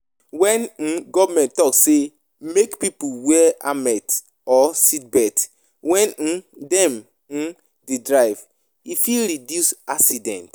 When um government talk sey make pipo wear helmet or seatbelt when um dem um dey drive, e fit reduce accident